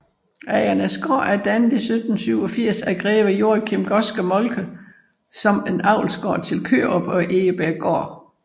Agernæsgård er dannet i 1787 af greve Joachim Godske Moltke som en avlsgård til Kørup og Egebjerggård